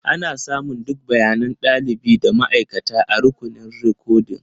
Ana samun duk bayanan ɗalibi da ma'aikata a rukunin rikodin.